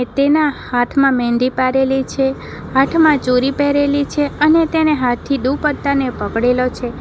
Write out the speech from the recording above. તેના હાથમાં મહેંદી પાડેલી છે પાઠમાં ચોરી પહેરેલી છે અને તેને હાથથી દુપટ્ટા ને પકડેલો છે.